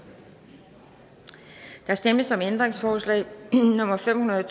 der stemmes om ændringsforslag nummer fem hundrede og